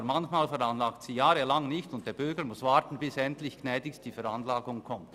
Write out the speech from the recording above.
Aber manchmal veranlagt sie jahrelang nichts, und der Bürger muss warten, bis endlich gnädigst die Veranlagung kommt.